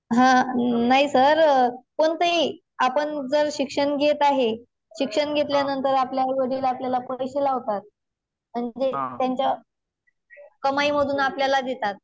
हा. नाही सर. कोणतेही आपण जर शिक्षण घेत आहे. शिक्षण घेतल्यानंतर आपले आईवडील आपल्याला पैशे लावतात. म्हणजे त्यांच्या कमाईमधून आपल्याला देतात.